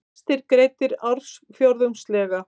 Vextir greiddir ársfjórðungslega